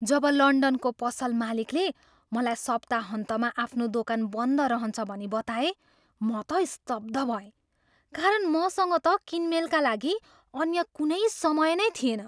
जब लन्डनको पसल मालिकले मलाई सप्ताहन्तमा आफ्नो दोकान बन्द रहन्छ भनी बताए, म त स्तब्ध भएँ। कारण मसँग त किनमेलका लागि अन्य कुनै समय नै थिएन।